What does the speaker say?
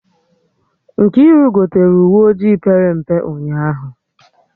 Nkiru gotere uwe ojii pere mpe ụnyaahụ